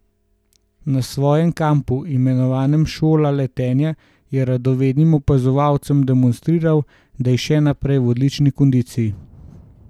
Na svojem kampu, imenovanem Šola letenja, je radovednim opazovalcem demonstriral, da je še naprej v odlični kondiciji.